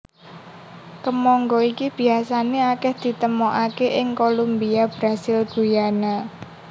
Kemangga iki biasané akèh ditemokaké ing Kolumbia Brasil Guyana